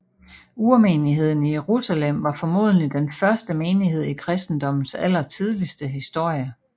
Urmenigheden i Jerusalem var formodentlig den første menighed i kristendommens allertidligste historie